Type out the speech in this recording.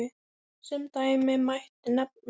Sem dæmi mætti nefna